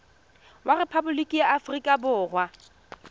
wa rephaboliki ya aforika borwa